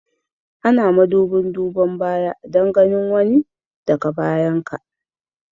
Ana madubin duban baya Dan ganin wani da ka bayan ka.